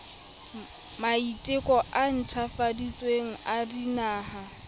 maiteko a ntjhafaditsweng a dinaha